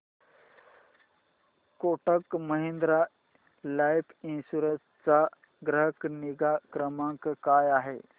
Kotak Mahindra life insurance चा ग्राहक निगा क्रमांक काय आहे